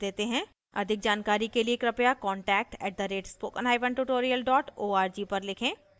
अधिक जानकारी के लिए कृपया contact @spokentutorial org पर लिखें